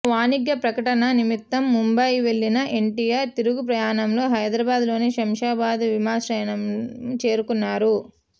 ఓ వాణిజ్య ప్రకటన నిమిత్తం ముంబయి వెళ్లిన ఎన్టీఆర్ తిరుగు ప్రయాణంలో హైదరాబాద్లోని శంషాబాద్ విమానాశ్రయం చేరుకున్నారు